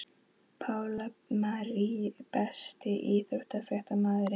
Pála Marie Besti íþróttafréttamaðurinn?